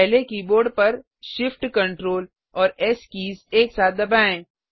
पहले कीबोर्ड पर shift Ctrl और एस कीज एक साथ दबाएँ